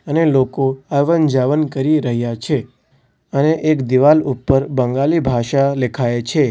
અને લોકો આવનજાવન કરી રહ્યા છે અને એક દિવાલ ઉપર બંગાલી ભાષા લેખાય છે.